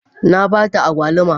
Na ba ta agwaluma.